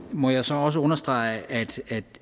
må jeg så også understrege at